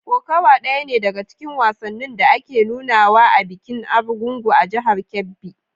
Kokawa ɗaya ne daga cikin wasannin da ake nunawa a bikin Argungu a jihar Kebbi.